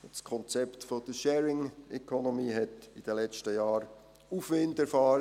Das Konzept der Sharing Economy hat in den letzten Jahren Aufwind erfahren;